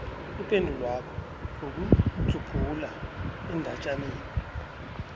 ipendulwakho ngokudzubhula endatjaneni